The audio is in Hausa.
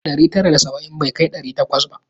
Ɗari tara da saba'in bai kai ɗari takwas ba.